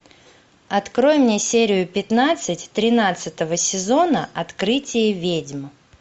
открой мне серию пятнадцать тринадцатого сезона открытие ведьм